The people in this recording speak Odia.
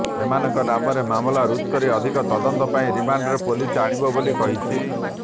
ଏମାନଙ୍କ ନାମରେ ମାମଲା ରୁଜୁ କରି ଅଧିକ ତଦନ୍ତ ପାଇଁ ରିମାଣ୍ଡରେ ପୁଲିସ ଆଣିବ ବୋଲି କହିଛି